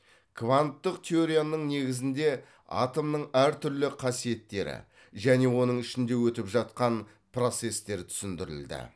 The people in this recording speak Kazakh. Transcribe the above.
кванттық теорияның негізінде атомның әр түрлі қасиеттері және оның ішінде өтіп жатқан процесстер түсіндірілді